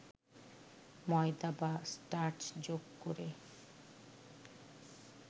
ময়দা বা স্টার্চ যোগ করে